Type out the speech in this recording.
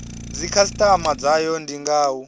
dzikhasitama dzayo ndi nga u